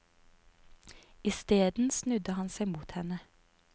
Isteden snudde han seg mot henne.